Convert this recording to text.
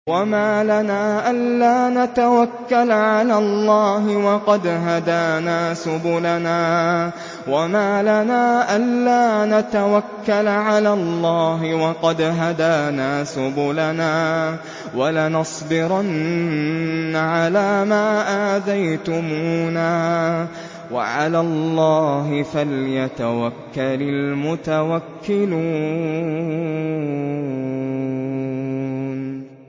وَمَا لَنَا أَلَّا نَتَوَكَّلَ عَلَى اللَّهِ وَقَدْ هَدَانَا سُبُلَنَا ۚ وَلَنَصْبِرَنَّ عَلَىٰ مَا آذَيْتُمُونَا ۚ وَعَلَى اللَّهِ فَلْيَتَوَكَّلِ الْمُتَوَكِّلُونَ